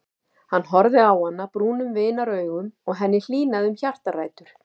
Hann horfði á hana brúnum vinaraugum og henni hlýnaði um hjartaræturnar.